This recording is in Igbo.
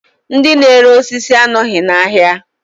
Ndi n'ere osisi anọghị n'ahịa